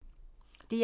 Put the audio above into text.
DR1